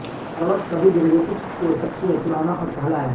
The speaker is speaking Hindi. फॉरवर्ड्स सभी डेरिवेटिव्स के सबसे पुराना और पहला है